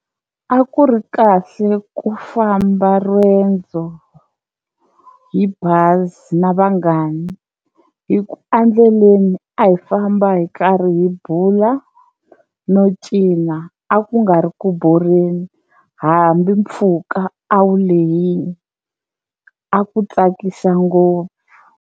A ku ri kahle ku famba riendzo hi bazi na vanghani hi ku a ndleleni a hi famba hi karhi hi bula no cina, a ku nga ri ku borheni hambi mpfhuka a wu lehini a ku tsakisa ngopfu.